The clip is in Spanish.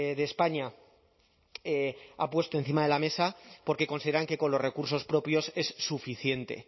de españa ha puesto encima de la mesa porque consideran que con los recursos propios es suficiente